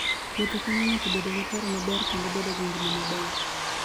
Wuotho konyo ng'ato bedo gi paro maber kendo bedo gi ngima maber.